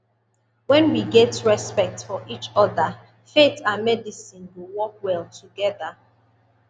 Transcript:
when we get respect for each other faith and medicine go work well together